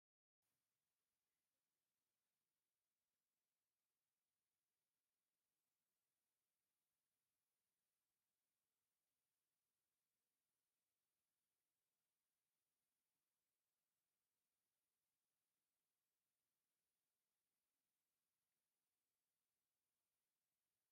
ሓደ ሰብኣይ ኣብ ማእከል ጽዑቕ ህዝቢ ደው ኢሉ ይርአ። ጽቡቕ ክዳንን ሕብራዊ ሸሪጥን ተኸዲኑ፡ ኣብ ርእሱ ድማ ቆቢዕ ኣለዎ። ኣብ ኢዱ ብረት ሒዙ ደው ኢሉ ኣሎ። እዚ ናይ ምሕጓስን ምትብባዕን መንፈስ ዘለዎ ዓውዲ ይመስል፡፡